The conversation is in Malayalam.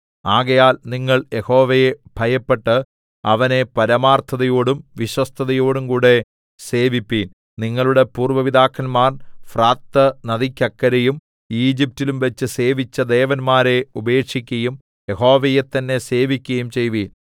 ആകയാൽ നിങ്ങൾ യഹോവയെ ഭയപ്പെട്ട് അവനെ പരമാർത്ഥതയോടും വിശ്വസ്തതയോടുംകൂടെ സേവിപ്പീൻ നിങ്ങളുടെ പൂര്‍വ്വ പിതാക്കന്മാർ ഫ്രാത്ത് നദിക്കക്കരെയും ഈജിപ്റ്റിലുംവെച്ച് സേവിച്ച ദേവന്മാരെ ഉപേക്ഷിക്കയും യഹോവയെത്തന്നെ സേവിക്കയും ചെയ്‌വിൻ